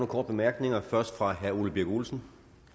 korte bemærkninger først fra herre ole birk olesen